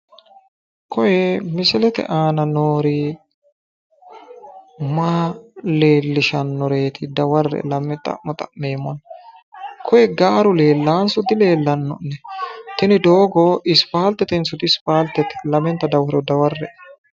koye mislete aana noori maa leellishannoreeti daware'e lame xa'mo xa'meemmona. koye gaaru leellaanso dileellanno'ne? tini doogo ispaaltetenso diispaaltete? lamenta dawaro daware'e.